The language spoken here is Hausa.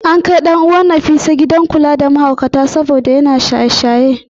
An kai ɗan uwan ​​Nafisa gidan kula da mahaukata saboda shaye-shayen miyagun kwayoyi.